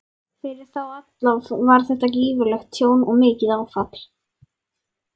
Fyrir þá alla var þetta gífurlegt tjón og mikið áfall.